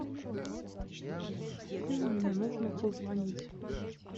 афина мне нужно позвонить